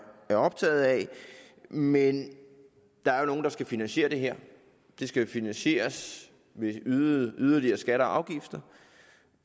optaget af men der er jo nogen der skal finansiere det her det skal jo finansieres ved yderligere skatter og afgifter